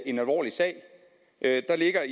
ene årsag at det er